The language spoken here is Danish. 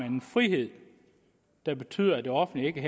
en frihed der betyder at det offentlige ikke